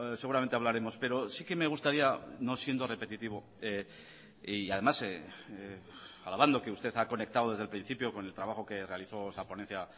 seguramente hablaremos pero sí que me gustaría no siendo repetitivo y además alabando que usted ha conectado desde el principio con el trabajo que realizó esa ponencia